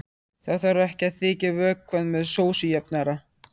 Þá þarf ekki að þykkja vökvann með sósujafnara.